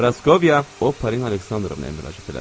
Praskovya Opolina Aleksandrovnaya müraciət elədi.